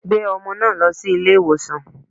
Gbé ọmọ náà lọ sí ilé ìwòsàn.